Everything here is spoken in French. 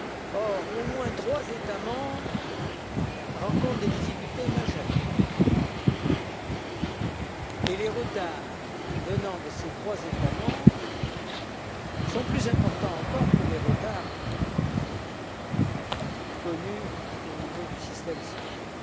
Or, trois États membres au moins rencontrent des difficultés majeures, et les retards venant de ces trois États membres sont plus importants encore que les retards connus au niveau du système central.